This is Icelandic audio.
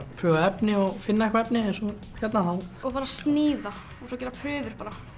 prufa efni og finna efni eins og hérna og sníða gera prufur